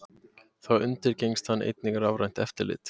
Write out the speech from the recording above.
Þá undirgengst hann einnig rafrænt eftirlit